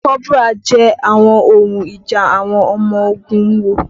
Kọ́bùrà yẹ àwọn ohun ìjà àwọn ọmọ ogun wò